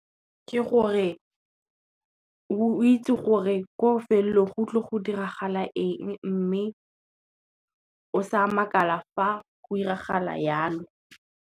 Ke gore, o itse gore ko felelong go tlo go diragala eng, mme o sa makala fa go 'iragala jalo.